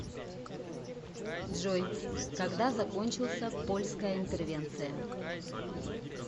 джой когда закончился польская интервенция